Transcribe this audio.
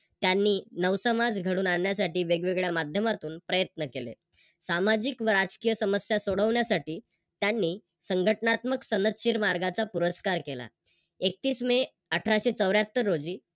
त्यांनी नवसमाज घडवून आणण्यासाठी वेगवेगळ्या माध्यमातून प्रयत्न केले. सामाजिक व राजकीय समस्या सोडवण्यासाठी त्यांनी संघटनात्मक सनदशीर मार्गाचा पुरस्कार केला. एकतीस मे अठराशे चौऱ्याहत्तर रोजी